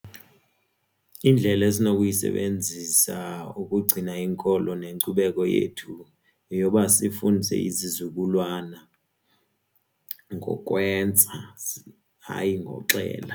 Indlela esinokuyisebenzisa ukugcina inkolo nenkcubeko yethu yeyoba sifundise izizukulwana ngokwenza, hayi ngoxelela.